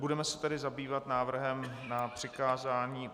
Budeme se tedy zabývat návrhem na přikázání...